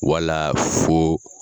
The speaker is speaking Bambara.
Wala fo